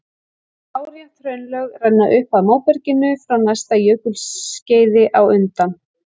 Lárétt hraunlög renna upp að móberginu frá næsta jökulskeiði á undan.